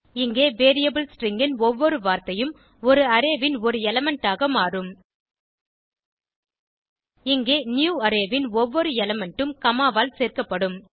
இங்கே variable string ன் ஒவ்வொரு வார்த்தையும் ஒரு அரே ன் ஒரு எலிமெண்ட் ஆக மாறும் இங்கே நியூவரே ன் ஒவ்வொரு எலிமெண்ட் ம் காமா ஆல் சேர்க்கப்படும்